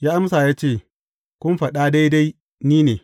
Ya amsa ya ce, Kun faɗa daidai, ni ne.